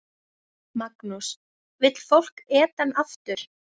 Magnús: Vill fólk Eden aftur?